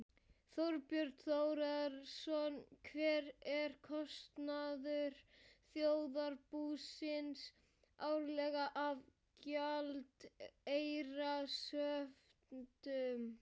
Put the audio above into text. Þorbjörn Þórðarson: Hver er kostnaður þjóðarbúsins árlega af gjaldeyrishöftum?